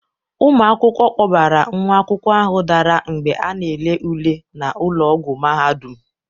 Ụmụ akwụkwọ kpọbara nwa akwụkwọ ahụ dara mgbe a na-ele ule na ụlọ ọgwọ mahadum.